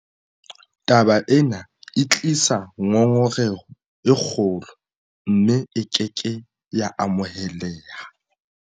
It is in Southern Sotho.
Taba ena e tlisa ngongoreho e kgolo, mme e ke ke ya amoheleha.